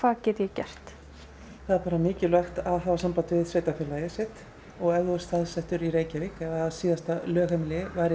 það er bara mikilvægt að hafa samband við sveitarfélagið sitt og ef þú ert staðsettur í Reykjavík eða síðasta lögheimilið var í Reykjavík að